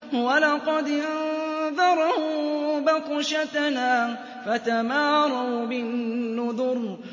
وَلَقَدْ أَنذَرَهُم بَطْشَتَنَا فَتَمَارَوْا بِالنُّذُرِ